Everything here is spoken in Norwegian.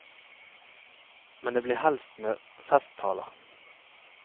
Men det blir helst med festtaler.